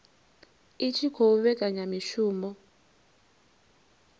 i tshi khou vhekanya mishumo